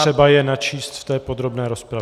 Je třeba je načíst v té podobné rozpravě.